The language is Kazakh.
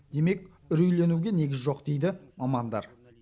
демек үрейленуге негіз жоқ дейді мамандар